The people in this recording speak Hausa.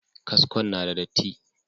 Kaskon na da datti.